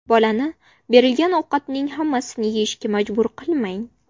Bolani berilgan ovqatning hammasini yeyishga majbur qilmang.